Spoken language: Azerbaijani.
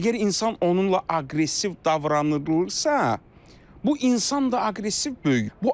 Əgər insan onunla aqressiv davranılarsa, bu insan da aqressiv böyüyür.